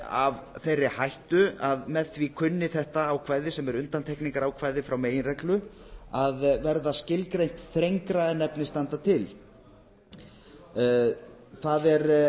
af þeirri hættu að með því kunni þetta ákvæði sem er undantekningarákvæði frá meginreglu að verða skilgreint þrengra en efni standa til það er